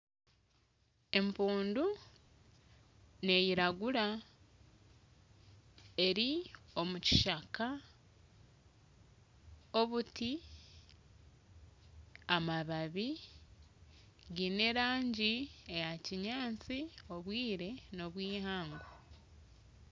Empundu neyiragura eri omukishaka obuti , amababi gine erangi eya kinyansi obwire nobwihangwe.